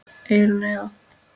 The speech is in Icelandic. Eyrún Eva.